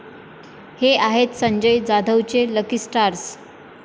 हे' आहेत संजय जाधवचे 'लकी' स्टार्स